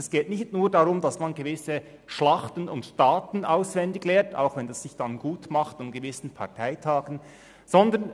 Es geht nicht nur darum, gewisse Daten von Schlachten auswendig zu lernen, auch wenn sich dies an gewissen Parteitagen gut macht.